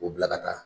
O bila ka taa